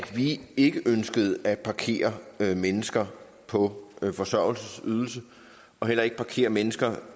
vi ikke ønskede at parkere mennesker på forsørgelsesydelse og heller ikke parkere mennesker